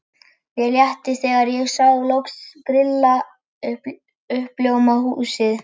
Mér létti þegar ég sá loks grilla í uppljómað húsið.